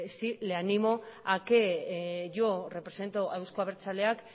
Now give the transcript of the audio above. le animo a que yo represento a euzko abertzaleak